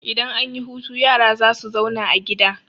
Idan an yi hutu yara za su zauna a gida.